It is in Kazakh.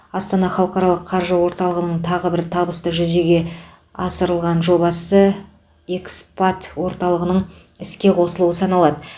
астана халықаралық қаржы орталығының тағы бір табысты жүзеге асырылған жобасы эскпат орталығының іске қосылуы саналады